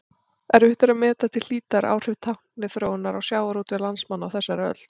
Erfitt er að meta til hlítar áhrif tækniþróunar á sjávarútveg landsmanna á þessari öld.